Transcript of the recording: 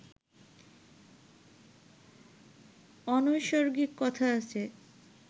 অনৈসর্গিক কথা আছে